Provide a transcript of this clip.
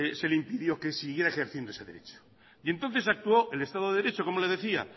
se le impidió que siguiera ejerciendo ese derecho y entonces actuó el estado de derecho como le decía